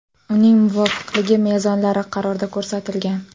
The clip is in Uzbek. Uning muvofiqligi mezonlari qarorda ko‘rsatilgan.